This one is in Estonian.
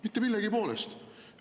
Mitte millegi poolest.